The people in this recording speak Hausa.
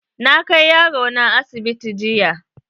Na kai yaro na asibiti jiya.